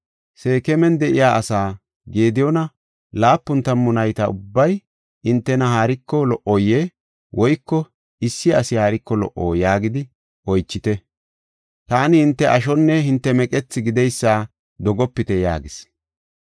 “Seekeman de7iya asaa, ‘Gediyoona laapun tammu nayti ubbay hintena haariko lo77oyee? Woyko issi asi haariko lo77o?’ yaagidi oychite. Taani hinte ashonne hinte meqethi gideysa dogopite” yaagis.